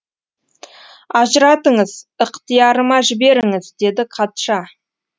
ажыратыңыз ықтиярыма жіберіңіз деді қатша